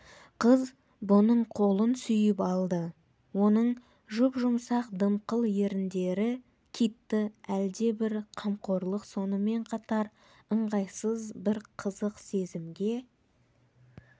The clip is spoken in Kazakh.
қыз бұның қолын сүйіп алды оның жұп-жұмсақ дымқыл еріндері китті әлдебір қамқорлық сонымен қатар ыңғайсыз бір қызық сезімге